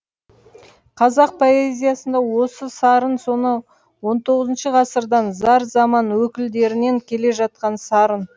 қазақ поэзиясында осы сарын сонау он тоғызыншы ғасырдан зар заман өкілдерінен келе жатқан сарын